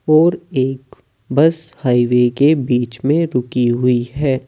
और एक bus highway के बीच में रुकी हुई है।